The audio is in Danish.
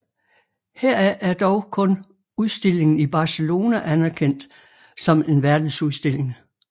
Heraf er dog kun udstillingen i Barcelona anerkendt som en verdensudstilling